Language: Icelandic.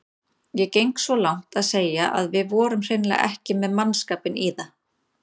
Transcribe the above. Ég geng svo langt að segja að við vorum hreinlega ekki með mannskapinn í það.